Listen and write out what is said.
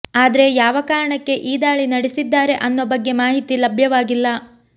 ಆದ್ರೆ ಯಾವ ಕಾರಣಕ್ಕೆ ಈ ದಾಳಿ ನಡೆಸಿದ್ದಾರೆ ಅನ್ನೋ ಬಗ್ಗೆ ಮಾಹಿತಿ ಲಭ್ಯವಾಗಿಲ್ಲ